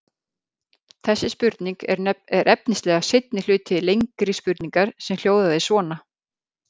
Þessi spurning er efnislega seinni hluti lengri spurningar sem hljóðaði svona: